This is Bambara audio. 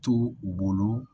To u bolo